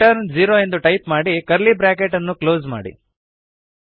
return zero ಎಂದು type ಮಾಡಿ curly bracket ಅನ್ನು ಕ್ಲೋಸ್ ಮಾಡಿ